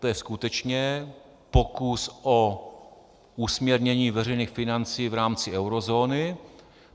To je skutečně pokus o usměrnění veřejných financí v rámci eurozóny.